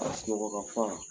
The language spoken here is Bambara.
Ka Sunɔgɔ ka fa